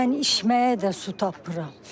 Mən içməyə də su tapmıram.